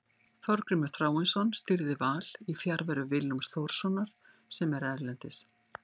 Þorgrímur Þráinsson stýrði Val í fjarveru Willums Þórssonar sem er erlendis.